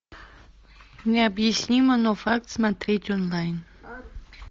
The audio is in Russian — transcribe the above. необъяснимо но факт смотреть онлайн